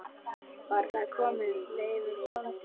Var þar kominn Leifur bóndi.